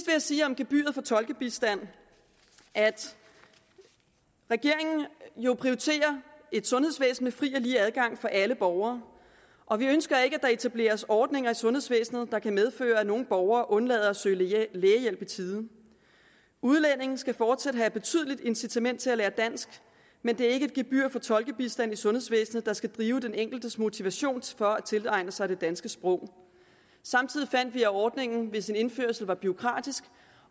jeg sige om gebyret for tolkebistand at regeringen jo prioriterer et sundhedsvæsen med fri og lige adgang for alle borgere og vi ønsker ikke at der etableres ordninger i sundhedsvæsenet der kan medføre at nogle borgere undlader at søge lægehjælp i tide udlændinge skal fortsat have et betydeligt incitament til at lære dansk men det er ikke et gebyr på tolkebistand i sundhedsvæsenet der skal drive den enkeltes motivation for at tilegne sig det danske sprog samtidig fandt vi at ordningen ved sin indførelse var bureaukratisk